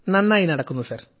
നന്നായി നടക്കുന്നു സർ